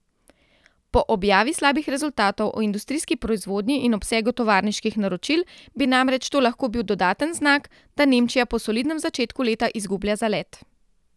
Po objavi slabih rezultatov o industrijski proizvodnji in obsegu tovarniških naročil bi namreč to lahko bil dodaten znak, da Nemčija po solidnem začetku leta izgublja zalet.